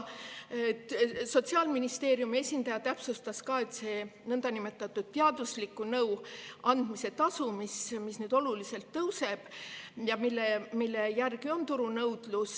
Sotsiaalministeeriumi esindaja täpsustas seda niinimetatud teadusliku nõu andmise tasu, mis nüüd oluliselt tõuseb ja mille järele on turunõudlus.